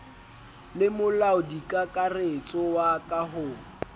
le molaodikakaretso wa ka ho